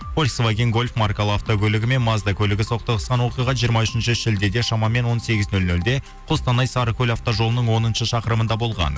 фольсваген гольф маркалы автокөлігі мен мазда көлігі соқтығысқан оқиға жиырма үшінші шілдеде шамамен он сегіз нөл нөлде қостанай сарыкөл автожолының оныншы шақырымында болған